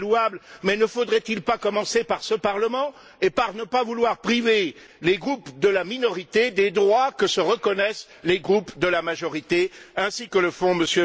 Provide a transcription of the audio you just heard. C'est très louable mais ne faudrait il pas commencer par ce Parlement et par ne pas vouloir priver les groupes de la minorité des droits que se reconnaissent les groupes de la majorité, ainsi que le font M.